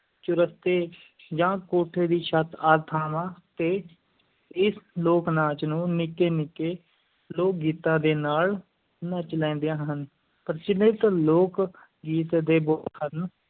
ਚੁਰਸਤੇ ਜਾਂ ਕੋਠੇ ਦੀ ਛੱਤ ਆਦਿ ਥਾਂਵਾਂ ਤੇ, ਇਸ ਲੋਕ-ਨਾਚ ਨੂੰ ਨਿੱਕੇ-ਨਿੱਕੇ ਲੋਕ-ਗੀਤਾਂ ਦੇ ਨਾਲ ਨੱਚ ਲੈਂਦੀਆਂ ਹਨ, ਪ੍ਰਚਲਿਤ ਲੋਕ-ਗੀਤ ਦੇ ਬੋਲ ਹਨ